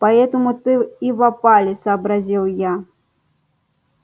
поэтому ты и в опале сообразил я